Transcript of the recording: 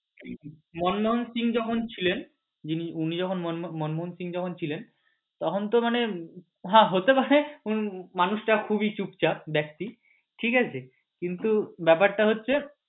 মনমোহন সিংহ যখন ছিলেন উনি যখন মনমোহন সিংহ যখন ছিলেন তখন তো মানে হ্যাঁ হতে পারে মানুষ টা খুবই চুপচাপ ব্যাক্তি কিন্তু ব্যাপার টা হচ্ছে